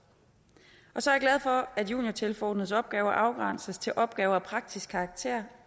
så er jeg glad for at juniortilforordnedes opgaver afgrænses til opgaver af praktisk karakter